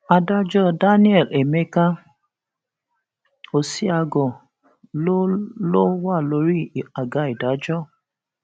adájọ daniel emeka ọsiágor ló ló wà lórí àga ìdájọ